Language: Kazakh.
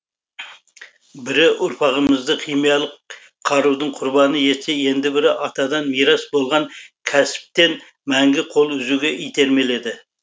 бірі ұрпағымызды химиялық қарудың құрбаны етсе енді бірі атадан мирас болған кәсіптен мәңгі қол үзуге итермеледі